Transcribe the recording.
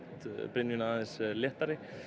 brynjuna léttari